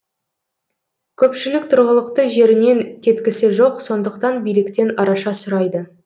көпшілік тұрғылықты жерінен кеткісі жоқ сондықтан биліктен араша сұрайды